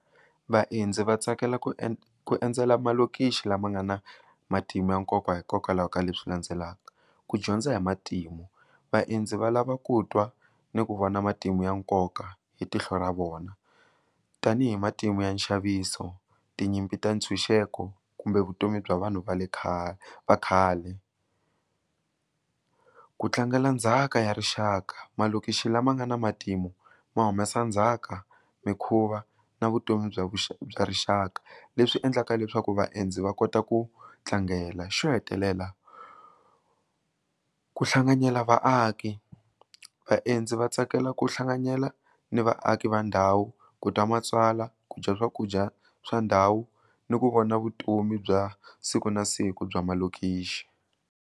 Vaendzi va tsakela ku endzela malokixi lama nga na matimu ya nkoka hikokwalaho ka leswi landzelaka, ku dyondza hi matimu, vaendzi va lava ku twa ni ku vona matimu ya nkoka hi tihlo ra vona tanihi matimu ya nxaviso tinyimpi ta ntshunxeko kumbe vutomi bya vanhu va le khale vakhale ku tlangela ndzhaka ya rixaka malokixi lama nga na matimu ma humesa ndzhaka mikhuva na vutomi bya vuxaka bya rixaka leswi endlaka leswaku vaendzi va kota ku tlangela xo hetelela ku hlanganyela vaaki, vaendzi va tsakela ku hlanganyela ni vaaki va ndhawu ku twa matsalwa ku dya swakudya swa ndhawu ni ku vona vutomi bya siku na siku bya malokixi.